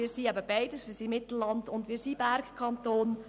Wir sind beides: Mittelland- und Bergkanton.